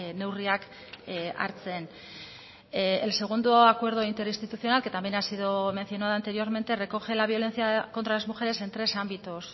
neurriak hartzen el segundo acuerdo interinstitucional que también ha sido mencionado anteriormente recoge la violencia contra las mujeres en tres ámbitos